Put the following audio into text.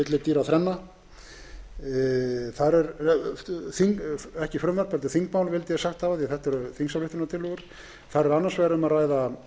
hvali þetta eru eins konar náttúruvillidýraþrenna ekki frumvarp heldur þingmál vildi ég sagt hafa því þetta eru þingsályktunartillögu þar er annars vegar um að ræða